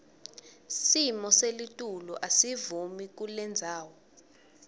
simoselitulu asivumi kulendzawo